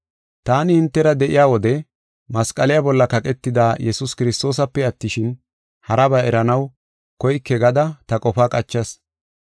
Taani hintera de7iya wode masqaliya bolla kaqetida Yesuus Kiristoosape attishin, haraba eranaw koyke gada qofa qachas.